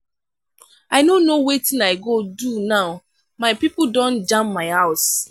i no know wetin i go do now my pipo don jam my house.